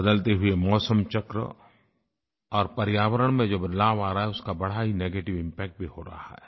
बदलते हुए मौसमचक्र और पर्यावरण में जो बदलाव आ रहा है उसका बड़ा ही नेगेटिव इम्पैक्ट भी हो रहा है